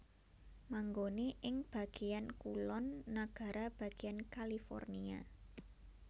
Manggone ing bageyan kulon nagara bageyan California